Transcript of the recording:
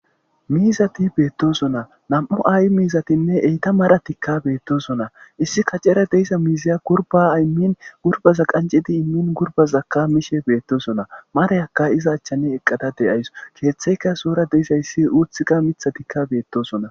miizati beettosona nam7u aay miizatinne eyta mara tikka beettosona issi kacera deyisa miizaya gurba imin gurbaza qancidi immin gurbazakka miishe beettosona marayakka iza achchane eqqada deyayso keeththeyka soora deysayssi uuthika mitha tikka beettosona